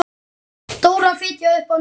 Dóra fitjaði upp á nefið.